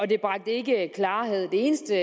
det bragte ikke klarhed det eneste